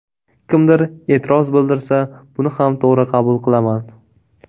Kimdir e’tiroz bildirsa buni ham to‘g‘ri qabul qilaman”.